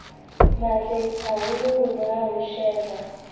matle haholoholo ha ho shejwa